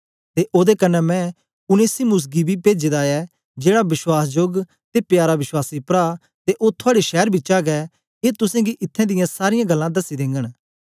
ते ओदे कन्ने मैं उनेसिमुस गी बी पेजे दा ऐ जेड़ा वश्वासजोग ते प्यारा विश्वासी प्रा ते ओ थुआड़े शैर बिचा गै ए तुसेंगी इत्थैं दियां सारीयां गल्लां दसी देगन